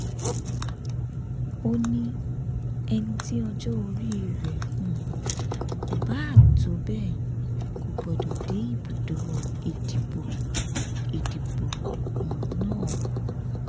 ó ní ẹni tí ọjọ orí rẹ um kò bá tó bẹẹ kò gbọdọ dé ibùdó ìdìbò ìdìbò um náà